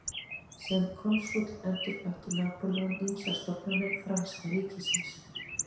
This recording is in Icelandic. Sem konsúll endurbætti Napóleon ýmsar stofnanir franska ríkisins.